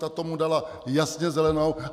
Ta tomu dala jasně zelenou.